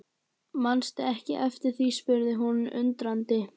Mannstu ekki eftir því spurði hún undrandi.